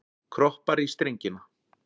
Kroppar í strengina.